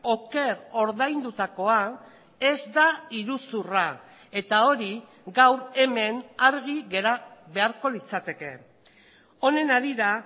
oker ordaindutakoa ez da iruzurra eta hori gaur hemen argi gera beharko litzateke honen harira